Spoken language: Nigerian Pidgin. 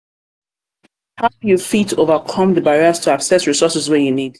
how you fit overcome you fit overcome di barriers to access resources wey you need?